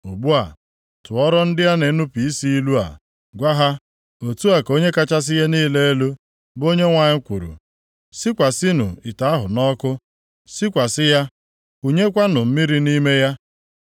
Ugbu a, tụọrọ ndị a na-enupu isi ilu a, gwa ha: ‘Otu a ka Onye kachasị ihe niile elu, bụ Onyenwe anyị kwuru: “ ‘Sikwasịnụ ite ahụ nʼọkụ; sikwasị ya kunyekwanụ mmiri nʼime ya.